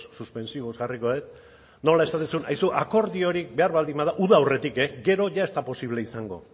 suspensivos jarriko dut nola esaten zuen aizu akordiorik behar bada uda aurretik gero ia ez da posible izango